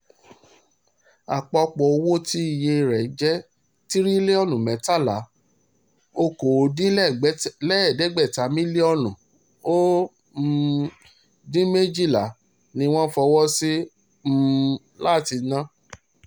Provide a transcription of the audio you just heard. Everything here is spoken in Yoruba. àpapọ̀ owó tí iye rẹ̀ jẹ́ tirilóònù mẹ́tàlá okòódínlẹ́gbẹ̀ta mílíọ̀nù ó um dín méjìlá ni wọ́n fọwọ́ sí um láti ná